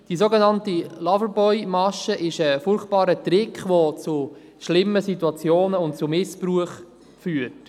Die sogenannte Loverboy-Masche ist ein furchtbarer Trick, welcher zu schlimmen Situation und zu Missbrauch führt.